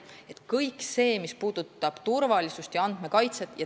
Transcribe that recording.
See on kõik see, mis puudutab turvalisust ja andmekaitset.